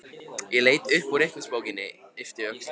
Ég leit upp úr reikningsbókinni, yppti öxlum.